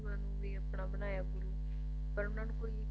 ਸਾਧੂਆਂ ਨੂੰ ਵੀ ਆਪਣਾ ਬਣਾਇਆ ਪਰ ਉਹਨਾਂ ਨੂੰ